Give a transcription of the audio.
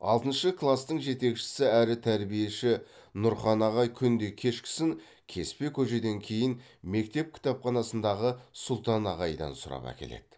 алтыншы кластың жетекшісі әрі тәрбиеші нұрхан ағай күнде кешкісін кеспе көжеден кейін мектеп кітапханасындағы сұлтан ағайдан сұрап әкеледі